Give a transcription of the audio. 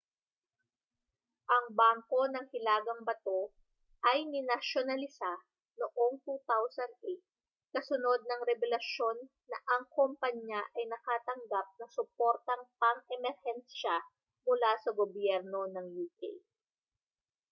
ang bangko ng hilagang bato ay ninasyonalisa noong 2008 kasunod ng rebelasyon na ang kompanya ay nakatanggap ng suportang pang-emerhensiya mula sa gobyerno ng uk